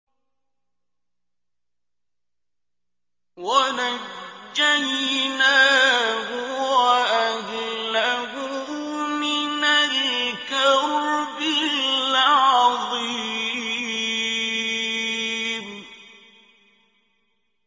وَنَجَّيْنَاهُ وَأَهْلَهُ مِنَ الْكَرْبِ الْعَظِيمِ